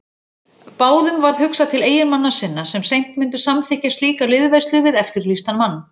Báðum varð hugsað til eiginmanna sinna sem seint myndu samþykkja slíka liðveislu við eftirlýstan mann.